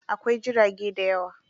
Akwai jirage dayawa.